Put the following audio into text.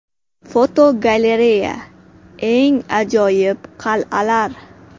Fotogalereya: Eng ajoyib qal’alar.